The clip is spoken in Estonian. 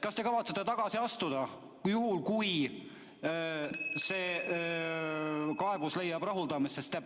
Kas te kavatsete tagasi astuda, kui see kaebus leiab rahuldamist?